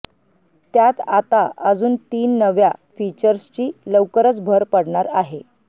त्यात आता अजून तीन नव्या फीचर्सची लवकरच भर पडणार आहे